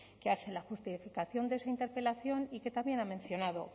que hace la justificación de su interpelación y que también ha mencionado